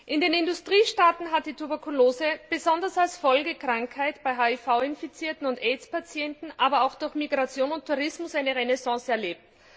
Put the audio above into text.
In den Industriestaaten hat die Tuberkulose besonders als Folgekrankheit bei HIV Infizierten und Aids Patienten, aber auch durch Migration und Tourismus eine Renaissance erlebt.